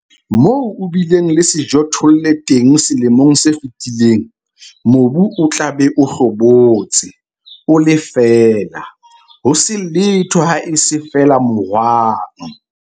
Moo o bileng le sejothollo teng selemong se fetileng, mobu o tla be o hlobotse, o le feela, ho se letho haese feela mohwang.